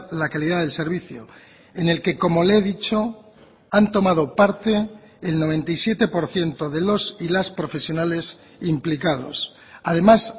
la calidad del servicio en el que como le he dicho han tomado parte el noventa y siete por ciento de los y las profesionales implicados además